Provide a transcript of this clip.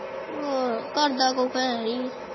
ਹਨ ਘਰ ਦਾ ਆਯੀ ਅਹ੍ਹ